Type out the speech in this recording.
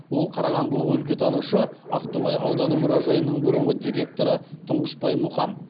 ол қарағандылық өлкетанушы ақтоғай ауданы мұражайының бұрынғы директоры тұңғышбай мұқан